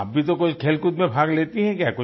तो आप भी तो कोई खेलकूद में भाग लेती हैं क्या